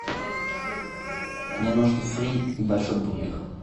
мне нужно фри и большой бургер